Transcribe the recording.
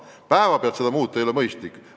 Päevapealt kõike muuta ei ole mõistlik.